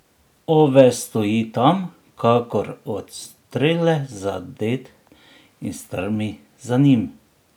Ove stoji tam, kakor od strele zadet, in strmi za njim.